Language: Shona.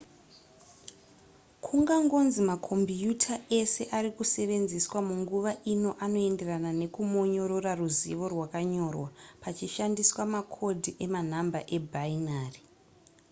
kungangonzi makombiuta ese ari kusevenzeswa munguva ino anoenderana nekumonyorora ruzivo rwakanyorwa pachishandiswa makodhi emanhamba ebinary